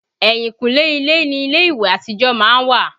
Ẹ̀yìnkùlé ilé ni ilé ìwẹ̀ àtijọ́ má ń wà